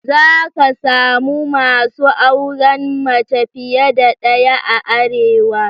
Za ka samu masu auren mace fiye da daya a Arewa.